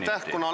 Aitäh!